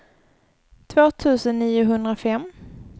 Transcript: två tusen niohundrafem